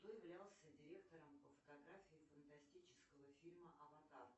кто являлся директором по фотографии фантастического фильма аватар